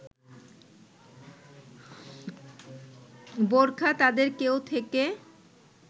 বোরখা তাদের ‘কেউ’ থেকে